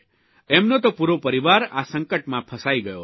એમનો તો પૂરો પરિવાર આ સંકટમાં ફસાઇ ગયો હતો